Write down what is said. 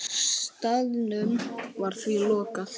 Staðnum var því lokað.